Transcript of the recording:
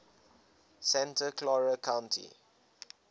santa clara county